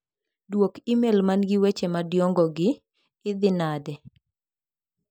Duok imel man gi weche madiongo gi, idhi nade?